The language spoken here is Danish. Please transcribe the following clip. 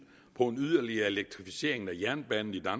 på en yderligere elektrificering af jernbanen i